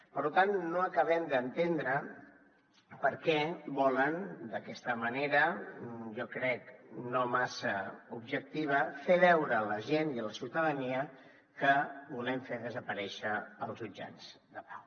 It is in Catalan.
per tant no acabem d’entendre per què volen d’aquesta manera jo crec no massa objectiva fer veure a la gent i a la ciutadania que volem fer desaparèixer els jutjats de pau